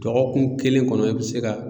Dɔgɔkun kelen kɔnɔ i bɛ se ka